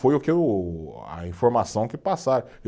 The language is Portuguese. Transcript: Foi o que eu, a informação que passaram.